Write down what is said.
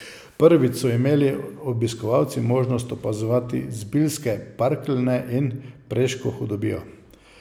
Prvič so imeli obiskovalci možnost opazovati Zbiljske parkeljne in Preško hudobijo.